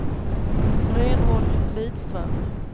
Reinhold Lidström